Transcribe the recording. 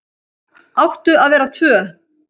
Áttu að vera tvö ár